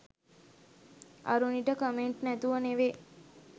අරුණිට comment නැතුව නෙවේ